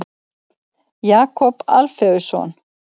Jakob Alfeusson.